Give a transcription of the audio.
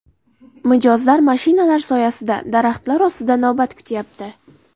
Mijozlar mashinalar soyasida, daraxtlar ostida navbat kutyapti.